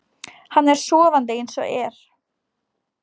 Hann er sofandi eins og er.